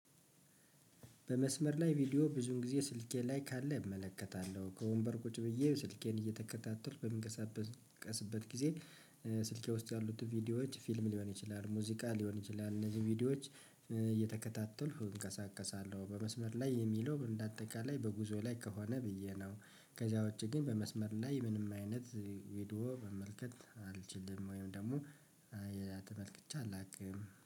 በመስመር ላይ ቪዲዮ ብዙውን ጊዜ ስልኬ ላይ ካለ እመለከታለሁ ከወንበር ቁጭ ብዬ ስልኬን እየተከታተልኩ በሚንቀሳቀስበት ጊዜ። ስልኬ ውስጥ ያሉትን ቪዲዮዎች ፊልም ሊሆን ይችላል ሙዚቃ ሊሆን ይችላል እነዚህ ቪዲዮዎች እየተከታተልኩ እንቀሳቀሳለሁ። በመስመር ላይ የሚለው እንደ አጠቃላይ በጉዞ ላይ ከሆነ ብዬ ነው። ከዚያ ውጪ ግን በመስመር ላይ ምንም አይነት ቪዲዮ መመልከት አልችልም ወይም ደግሞ የሌላ ተመልክቼ አላውቅም